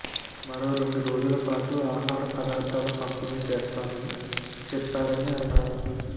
మరో రెండు రోజుల పాటు ఆహార పదార్ధాల పంపిణి చేస్తామని చెప్పారని అన్నారు